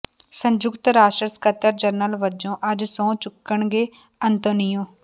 ਸੰੰਯੁਕਤ ਰਾਸ਼ਟਰ ਸਕੱਤਰ ਜਨਰਲ ਵਜੋਂ ਅੱੱਜ ਸਹੁੰ ਚੁੱਕਣਗੇ ਅੰਤੋਨੀਓ